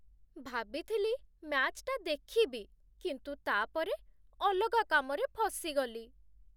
ଭାବିଥିଲି ମ୍ୟାଚ୍‌ଟା ଦେଖିବି, କିନ୍ତୁ ତା'ପରେ ଅଲଗା କାମରେ ଫସିଗଲି ।